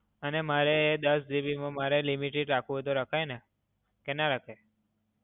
અને મારે દસ GB માં મારે limited રાખવું હોય તો રખાઇ ને? કે ના રખાય?